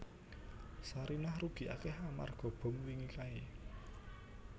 Sarinah rugi akeh amarga bom wingi kae